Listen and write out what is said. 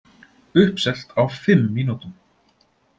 Uppselt á fimm mínútum